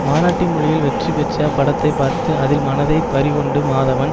மராட்டி மொழியில் வெற்றி பெற்ற படத்தை பார்த்து அதில் மனதை பறிகொடுத்த மாதவன்